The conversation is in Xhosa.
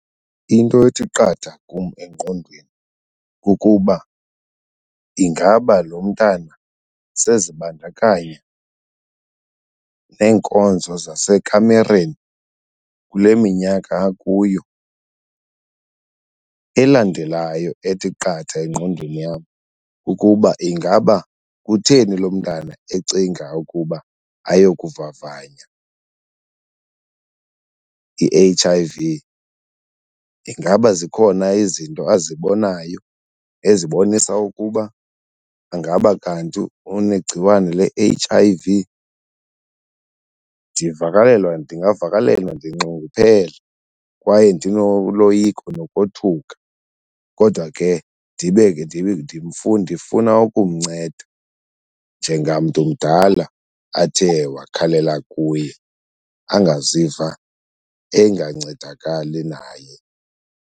Into ethi qatha kum engqondweni kukuba ingaba lo mntana sezibandakanya neenkonzo zasekamereni kule minyaka akuyo. Elandelayo ethi qatha engqondweni yam ukuba ingaba kutheni lo mntana ecinga ukuba ayokuvavanya i-H_I_V. Ingaba zikhona izinto abazibonayo ezibonisa ukuba angaba kanti unegciwane le-H_I_V? Ndivakalelwa, ndingavakalelwa ndinxunguphele kwaye ndinoloyiko nokothuka kodwa ke ndibe ke ndifuna ukumnceda njengamntu mdala athe wakhalela kuye, angaziva engancedakali naye.